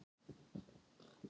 Hvað er ást?